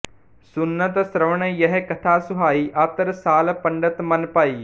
ਸੁਨਤ ਸ੍ਰਵਨ ਯਹਿ ਕਥਾ ਸੁਹਾਈ ਅਤਿ ਰਸਾਲ ਪੰਡਿਤ ਮਨਿ ਭਾਈ